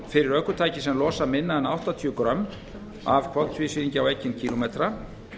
fyrir ökutæki sem losa minna en áttatíu grömm af koltvísýringi á ekinn kílómetra